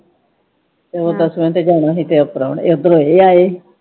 ਉਹ ਦੱਸਵੇ ਤੇ ਜਾਣਾ ਹੀ ਕੇ ਪ੍ਰਾਹੁਣੇ ਇਧਰੋਂ ਇਹ ਆਏ ਹੀ।